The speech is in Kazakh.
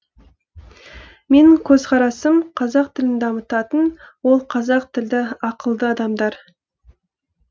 менің көзқарасым қазақ тілін дамытатын ол қазақ тілді ақылды адамдар